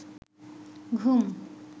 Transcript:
ঘুম